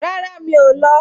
Rárá, mi ò lọ